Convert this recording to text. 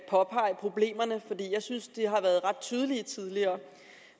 påpege problemerne for jeg synes at de har været ret tydelige tidligere